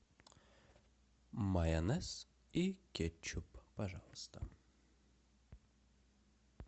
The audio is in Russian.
майонез и кетчуп пожалуйста